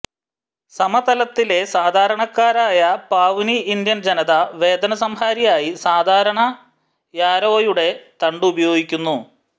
സമതലത്തിലെ സാധാരണക്കാരായ Pawnee Indian ജനത വേദനസംഹാരിയായി സാധാരണ യാരോയുടെ തണ്ടുപയോഗിക്കുന്നു